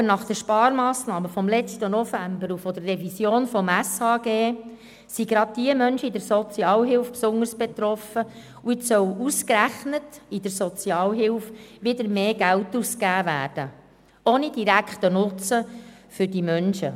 Aber von den Sparmassnahmen im letzten November und der Revision des Gesetzes über die öffentliche Sozialhilfe (Sozialhilfegesetz, SHG) sind gerade die Menschen in der Sozialhilfe besonders betroffen, und jetzt soll ausgerechnet in der Sozialhilfe wieder mehr Geld ausgegeben werden, ohne direkten Nutzen für diese Menschen.